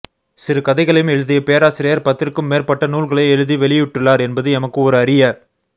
சிறுகதைகளையும் எழுதிய பேராசிரியர் பத்திற்கும் மேற்பட்ட நூல்களை எழுதி வெளியிட்டுள்ளார் என்பது எமக்கு ஒரு அரிய